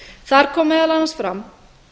þar kom meðal annars fram